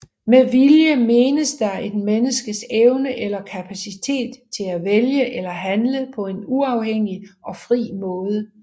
Med vilje menes der et menneskes evne eller kapacitet til at vælge eller handle på en uafhængig og fri måde